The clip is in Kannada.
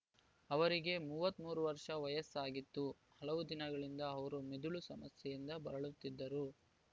ಅವರಿಗೆ ಮೂವತ್ತ್ ಮೂರು ವರ್ಷ ವಯಸ್ಸಾಗಿತ್ತು ಹಲವು ದಿನಗಳಿಂದ ಅವರು ಮಿದುಳು ಸಮಸ್ಯೆಯಿಂದ ಬಳಲುತ್ತಿದ್ದರು